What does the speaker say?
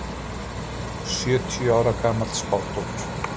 Sjötíu ára gamall spádómur